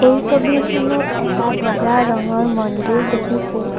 এই ছবিখনত এটা বগা ৰঙৰ মন্দিৰ দেখিছোঁ।